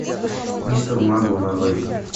мистер магу нарой